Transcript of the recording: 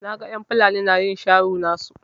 Na gan en Fulani na yin sharo nasu.